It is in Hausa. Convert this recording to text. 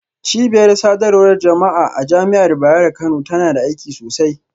Cibiyar sadarwar jama'a a Jami'ar Bayero Kano tana da aiki sosai.